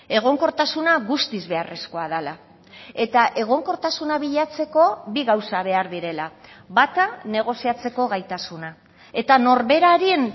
egonkortasuna guztiz beharrezkoa dela eta egonkortasuna bilatzeko bi gauza behar direla bata negoziatzeko gaitasuna eta norberaren